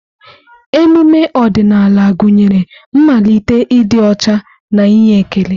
Emume ọdịnala gụnyere mmalite, ịdị ọcha na inye ekele.